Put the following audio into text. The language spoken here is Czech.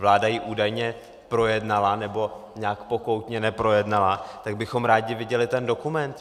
Vláda ji údajně projednala, nebo nějak pokoutně neprojednala, tak bychom rádi viděli ten dokument.